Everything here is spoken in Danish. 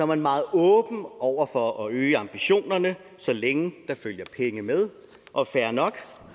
man meget åben over for at øge ambitionerne så længe der følger penge med og fair nok